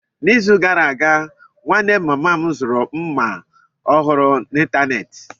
N'izu gara aga, nwanne mama m zuru mma ọhụrụ n'ịntanetị.